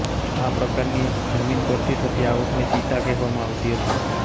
આ પ્રકારની જમીન પરથી થતી આવકને સીતા કહેવામાં આવતી હતી